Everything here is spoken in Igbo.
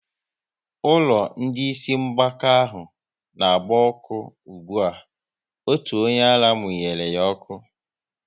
Ụlọ ndị Ịsị mgbaka ahụ n'agba ọkụ ụgbụa, otu onyeara munyere ya ọkụ